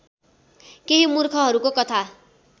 केही मूर्खहरूको कथा